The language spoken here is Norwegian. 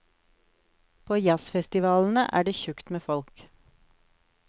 På jazzfestivalene er det tjukt med folk.